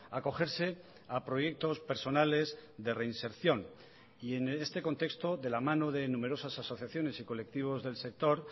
acogerse a proyectos personales de reinserción y en este contexto de la mano de numerosas asociaciones y colectivos del sector